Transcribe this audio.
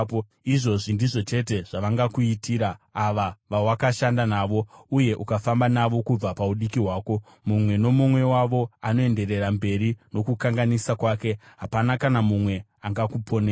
Izvozvi ndizvo chete zvavangakuitira, ava vawakashanda navo, uye ukafamba navo kubva paudiki hwako. Mumwe nomumwe wavo anoenderera mberi nokukanganisa kwake; hapana kana mumwe angakuponesa.